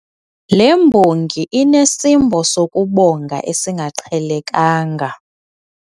Le mbongi inesimbo sokubonga esingaqhelekanga.